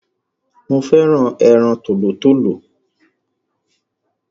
Mo féràn ẹran tòlótòló